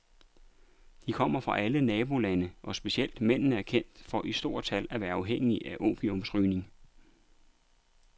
De kommer fra alle nabolandene, og specielt mændene er kendt for i stort tal at være afhængige af opiumsrygning.